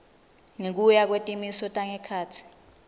ngekuya kwetimiso tangekhatsi